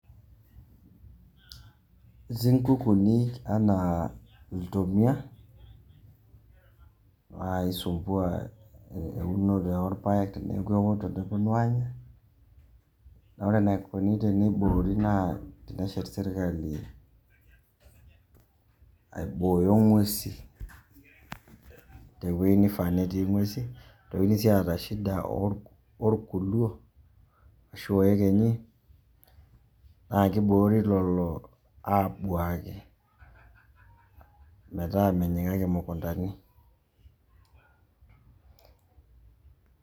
Etii nkukuuni enaa iltomia, aisumbua eunoto orpaek teneeku eoto neponu anya, na ore enaikoni teneboori naa teneshet sirkali aibooyo ng'uesin, tewei nifaa netii ng'uesin. Notikini si aata shida orkuluo, ashu oekenyi, na kiboori lelo abuaki, metaa menyikaki mukuntani.